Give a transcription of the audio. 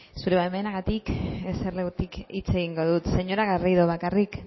zure baimenarekin eserlekutik hitz egingo dut señora garrido bakarrik